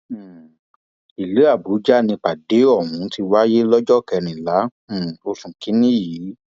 um ìlú àbújá nìpàdé ọhún ti wáyé lọjọ kẹrìnlá um oṣù kìnínní yìí